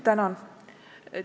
Tänan!